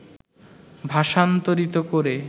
ভাষান্তরিত করে